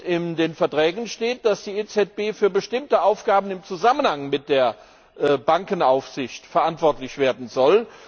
In den Verträgen steht, dass die EZB für bestimmte Aufgaben im Zusammenhang mit der Bankenaufsicht verantwortlich werden soll.